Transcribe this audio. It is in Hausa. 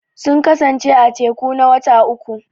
Sun kasance a teku na wata uƙu.